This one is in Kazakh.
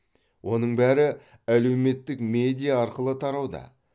оның бәрі әлеуметтік медиа арқылы тарауда